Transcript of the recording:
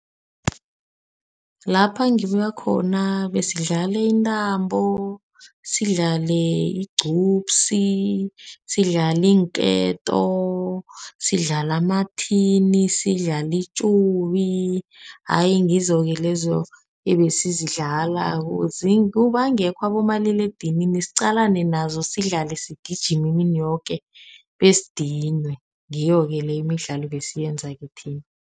Lapha ngibuye khona besidlala intambo. Sidlale igcubsi, sidlale iinketo, sidlale amathini, sidlale itsobi. Ayi ngizoke lezo ebesizidlala bangekho abomaliledinini. Siqalane nazo sidlale, sigijima imini yoke besidinwe ngiyo-ke le imidlalo ebesiyenza thina.